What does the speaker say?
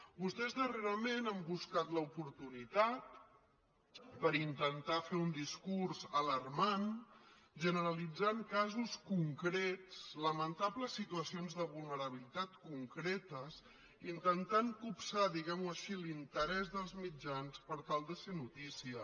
vostès darrerament han buscat l’oportunitat per in·tentar fer un discurs alarmant generalitzant casos concrets lamentables situacions de vulnerabilitat con·cretes intentant copsar diguem·ho així l’interès dels mitjans per tal de ser notícia